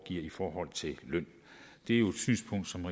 i forhold til løn det er jo et synspunkt som